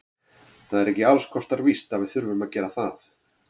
Það er ekki alls kostar víst að við þurfum að gera það.